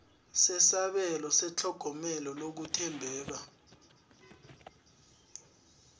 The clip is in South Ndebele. sesabelo setlhogomelo lokuthembela